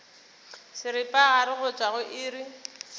seripagare go tšwa go iri